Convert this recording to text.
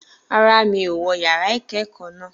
Rárá, mi ò wọ yàrá ìkẹ́kọ̀ọ́ naa.